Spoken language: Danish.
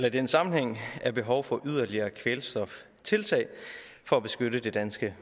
i den sammenhæng er behov for yderligere kvælstoftiltag for at beskytte det danske